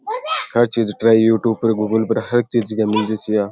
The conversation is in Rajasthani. हर चीज ट्राई यूट्यूब पर गूगल पर हर चीज में मिल जाशी या।